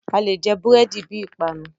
Alè jẹ búrẹ̀dì bi ìpanu.